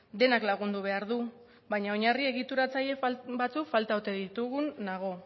denak lagundu behar du baina oinarri egituratzaile batzuk falta ote ditugun nago